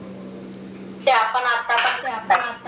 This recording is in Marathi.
ते आपण आता पण